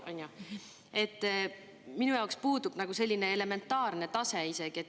Minu puudub isegi nagu selline elementaarne tase.